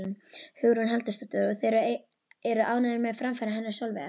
Hugrún Halldórsdóttir: Og þið eruð ánægðir með framfarir hennar Sólveigar?